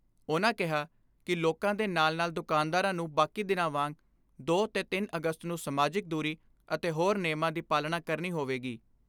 ਉਨ੍ਹਾਂ ਕਿਹਾ ਕਿ ਲੋਕਾਂ ਦੇ ਨਾਲ ਨਾਲ ਦੁਕਾਨਦਾਰਾਂ ਨੂੰ ਬਾਕੀ ਦਿਨਾਂ ਵਾਂਗ ਦੋ ਤੇ ਤਿੰਨ ਅਗਸਤ ਨੂੰ ਸਮਾਜਿਕ ਦੂਰੀ ਅਤੇ ਹੋਰ ਨੇਮਾਂ ਦੀ ਪਾਲਣਾ ਕਰਨੀ ਹੋਵੇਗੀ।